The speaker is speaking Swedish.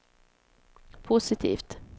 positivt